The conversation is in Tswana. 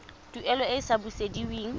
tuelo e e sa busediweng